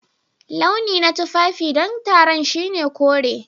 Launi na tufafi don taron shine kore.